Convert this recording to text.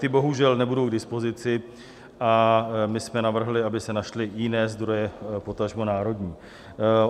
Ty bohužel nebudou k dispozici a my jsme navrhli, aby se našly jiné zdroje, potažmo národní.